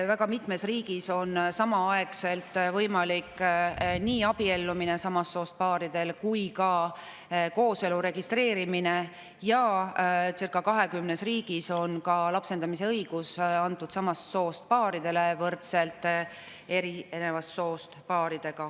Väga mitmes riigis on samast soost paaridel võimalik nii abielluda kui ka kooselu registreerida ja circa 20 riigis on ka lapsendamise õigus antud samast soost paaridele võrdselt eri soost paaridega.